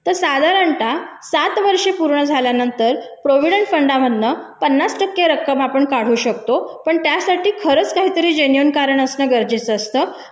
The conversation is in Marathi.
तर साधारणता सात वर्षे पूर्ण झाल्यानंतर प्रॉव्हिडंट फंडा मधनं पन्नास टक्के रक्कम आपण काढू शकतो पण त्यासाठी खरंच काहीतरी जेन्युअल कारण असणं गरजेचं असतं